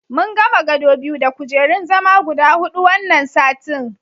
Mun gama gado biyu da kujerun zama guda huɗu wannan satin.